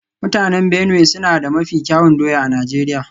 Mutanen Benue suna da mafi kyawun doya a Najeriya